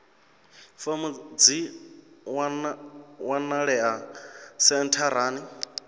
fomo dzi a wanalea sentharani